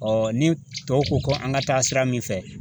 ni tɔw ko ko an ka taa sira min fɛ